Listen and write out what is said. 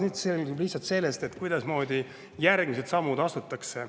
Nüüd sõltub see lihtsalt sellest, kuidasmoodi järgmised sammud astutakse.